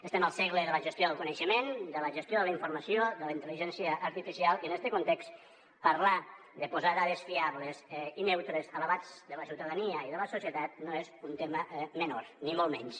estem al segle de la gestió del coneixement de la gestió de la informació de la intel·ligència artificial i en este context parlar de posar dades fiables i neutres a l’abast de la ciutadania i de la societat no és un tema menor ni molt menys